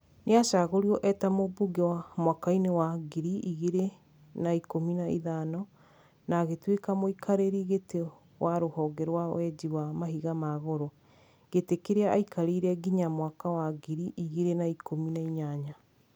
Nĩacagũrirwo eta mũmbunge mwaka-inĩ wa ngiri igĩrĩ na ikũmi na ithano na agĩtuĩka mũikarĩrĩ gĩtĩ wa rũhonge rwa wenji wa mahiga ma goro, gĩtĩ kĩrĩa aikarĩire nginya mwaka wa ngiri igĩrĩ na ikũmi na inyanya